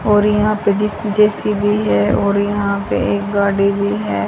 और यहां पे जिस जे_सी_बी है और यहां पे एक गाड़ी भी है।